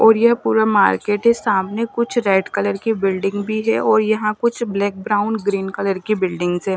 और ये पूरा मार्केट है सामने कुछ रेड कलर के बिल्डिंग भी है और यहाँ कुछ ब्लैक ब्राउन ग्रीन कलर की बिल्डिंग है।